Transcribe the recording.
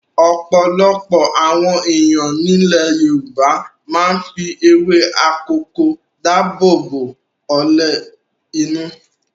Ọ̀pọ̀lọpọ̀ àwọn ènìyàn nílẹ̀ Yorùbá máa ń fi ewé akòko dáàbò bo ọlẹ̀ inú.